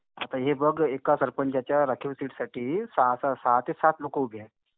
आता हे बघ. एका सरपंचाच्या राखीव सीटसाठी सहा-सहा सहा ते सात लोकं उभे आहेत.